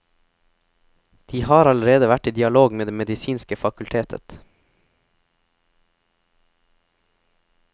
De har allerede vært i dialog med det medisinske fakultetet.